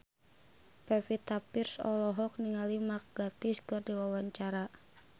Pevita Pearce olohok ningali Mark Gatiss keur diwawancara